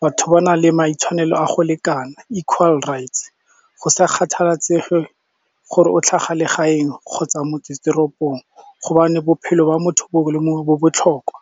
batho ba na le maitshwanelo a go lekana equal rights go sa kgathalasege gore o tlhaga legaeng kgotsa motsesetoropong gobane bophelo ba motho mongwe le mongwe bo botlhokwa.